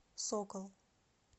сокол